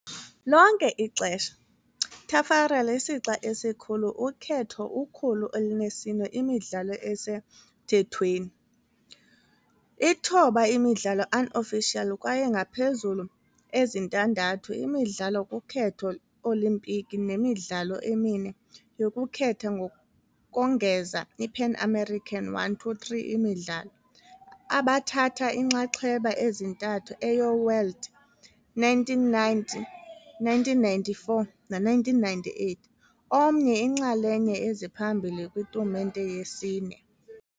lonke ixesha, Taffarel isixa esikhulu ukhetho 104 imidlalo ezisemthethweni, 09 imidlalo unofficial kwaye ngaphezulu ezintandathu imidlalo kukhetho Olimpiki nemidlalo 4 yokukhetha ngokongeza iPan American 123 imidlalo, abathatha inxaxheba ezintathu eyo- World, 1990, 1994 no-1998, omnye iinxalenye eziphambili kwitumente yesine.